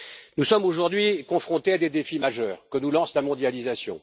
Nous sommes aujourd'hui confrontés à des défis majeurs que nous lance la mondialisation.